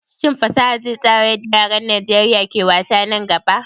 Shin fasaha zai tsara yadda yaran Najeriya ke wasa nan gaba?